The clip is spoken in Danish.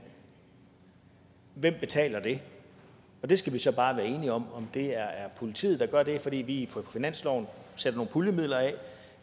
hvem der betaler det vi skal så bare være enige om om det er politiet der gør det fordi vi på finansloven sætter nogle puljemidler af